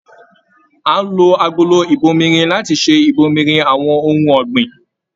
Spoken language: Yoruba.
A n lò agolo ibòmírin láti ṣe ibòmírin àwọn ohùn ọ̀gbìn.